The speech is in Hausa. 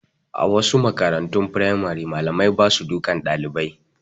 A wasu makarantun firamare malamai ba su dukan ɗalibai